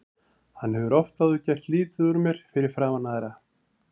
Hann hefur oft áður gert lítið úr mér fyrir framan aðra.